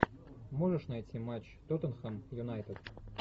можешь найти матч тоттенхэм юнайтед